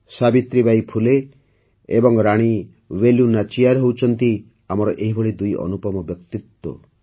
ସାବିତ୍ରୀବାଈ ଫୁଲେ ଏବଂ ରାଣୀ ୱେଲୁ ନାଚିୟାର ହେଉଛନ୍ତି ଆମର ଏହିଭଳି ଦୁଇ ଅନୁପମ ବ୍ୟକ୍ତିତ୍ୱ